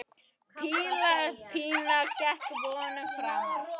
Píla Pína gekk vonum framar.